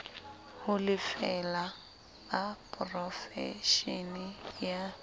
ho lefela ba porofeshene ya